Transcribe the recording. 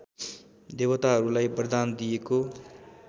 देवताहरूलाई वरदान दिएको